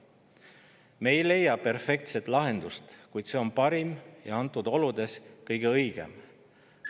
Me ei leia perfektset lahendust, kuid see lahendus on antud oludes parim ja kõige õigem.